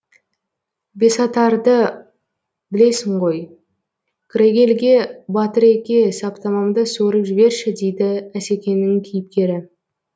бесатарды білесің ғой крейгельге батыреке саптамамды суырып жіберші дейді асекеңнің кейіпкері